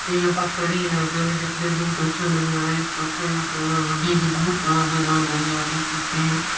ये पथ्थरी इलाका है दिखनें में बहुत अच्छा लग रहा है एक पत्थर रखा हुआ है आगे भी बहुत बड़ा मैदान है यहाँ देख सकते हैं।